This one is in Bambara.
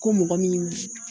Ko mɔgɔ min